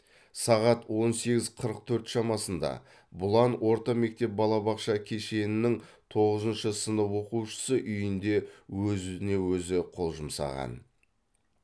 сағат он сегіз қырық төрт шамасында бұлан орта мектеп балабақша кешенінің тоғызыншы сынып оқушысы үйінде өзіне өзі қол жұмсаған